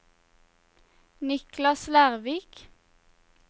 Niklas Lervik